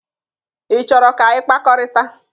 Ị chọrọ ka anyị kpakọrịta?